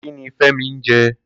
Kini Femi n jè?